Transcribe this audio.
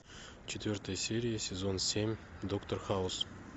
четвертая серия сезон семь доктор хаус